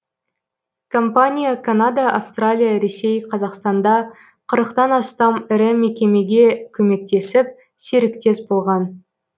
компания канада австралия ресей қазақстанда қырықтан тан астам ірі мекемеге көмектесіп серіктес болған